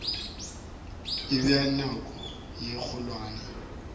e bea nyako ye kgolwane